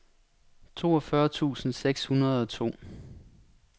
toogfyrre tusind seks hundrede og to